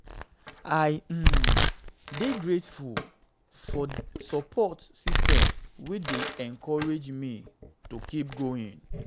i um dey grateful for support systems wey dey encourage um me to keep going. um